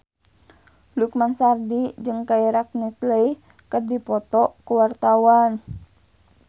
Lukman Sardi jeung Keira Knightley keur dipoto ku wartawan